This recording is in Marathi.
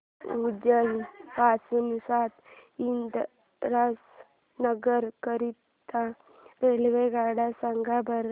उज्जैन पासून संत हिरदाराम नगर करीता रेल्वेगाड्या सांगा बरं